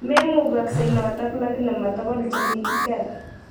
Memugaksei notok iakini ma tugul che kikiker.